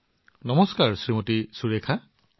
নমস্কাৰ সুৰেখা জী